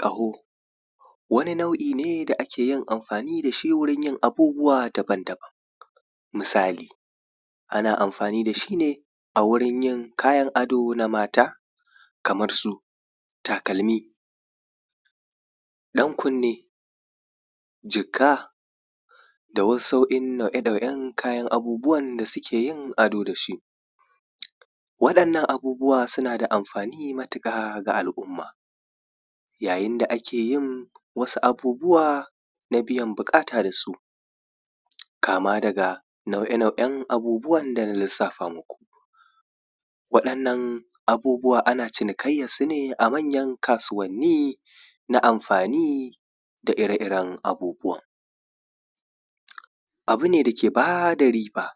Ƙaho wani nau'i ne da ake yin amfani da shi wurin yin abubuwa daban-daban. Misali ana amfani da shi ne a wurin yin kayan ado na mata kamar su takalmi, ɗan kunne, jikka, da wa’yansu nau'e-nau'en kayan abubuwan da suke yin adon da da shi. Wa’yannan abubuwa suna da amfani matuƙa ga al'umma. Yayin da ake yin abubuwa na biyan bukata da su, kama daga nau'e-nau'en abubuwan da na lissafa muku. Waɗannan abubuwan ana cinikayyarsu ne a manyan kasuwanni na amfani da ire-iren abubuwan Abu ne dake ba da riba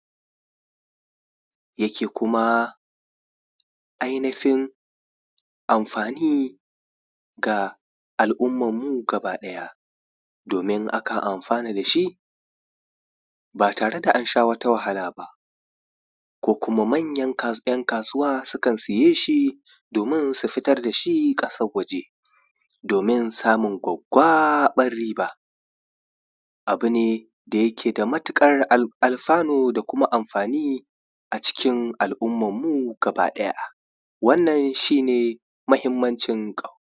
yake kuma ainufin amfani ga al'ummar mu gaba ɗaya domin akan amfana da shi ba tare da an sha wata wahala ba ko kuma kuma manyan ‘yan kasuwa sukan siye shi domin su fitar da shi ƙasar waje domin samun gwaggwabar riba. Abu ne da yake da matuƙar alfanu da kuma amfani a cikin al'ummar mu gaba ɗaya, wannan shi ne mahimmancin ƙaho.